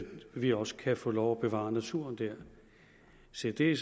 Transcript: vi også kan få lov bevare naturen dér se det er